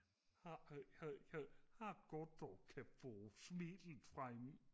har det godt og kan få smilet frem